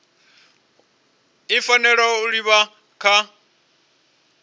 i fanela u livha kha